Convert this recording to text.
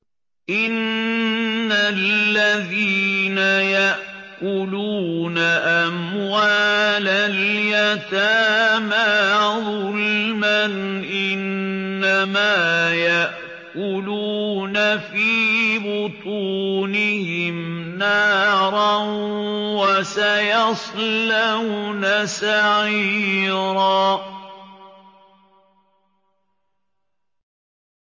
إِنَّ الَّذِينَ يَأْكُلُونَ أَمْوَالَ الْيَتَامَىٰ ظُلْمًا إِنَّمَا يَأْكُلُونَ فِي بُطُونِهِمْ نَارًا ۖ وَسَيَصْلَوْنَ سَعِيرًا